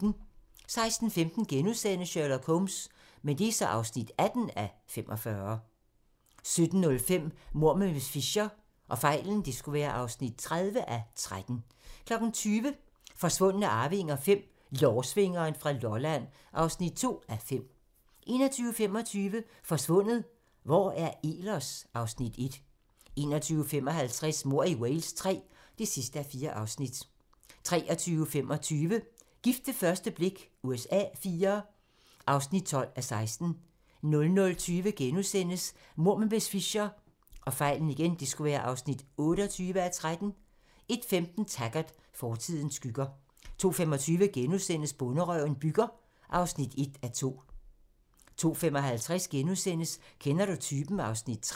16:15: Sherlock Holmes (18:45)* 17:05: Mord med miss Fisher (30:13) 20:00: Forsvundne arvinger V: Lårsvingeren fra Lolland (2:5) 21:25: Forsvundet - Hvor er Ehlers? (Afs. 1) 21:55: Mord i Wales III (4:4) 23:25: Gift ved første blik USA IV (12:16) 00:20: Mord med miss Fisher (28:13)* 01:15: Taggart: Fortidens skygger 02:25: Bonderøven bygger (1:2)* 02:55: Kender du typen? (Afs. 3)*